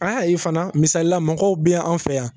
A i fana misalila, mɔgɔw bɛ an fɛ yan.